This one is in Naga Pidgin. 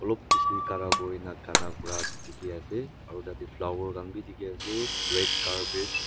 olop bishi khara kurina gana kuraa dikhi ase aru tate flower khan bi dikhi ase red carpet .